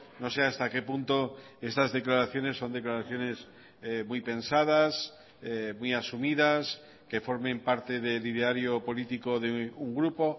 no sé hasta qué punto estas declaraciones son declaraciones muy pensadas muy asumidas que formen parte del ideario político de un grupo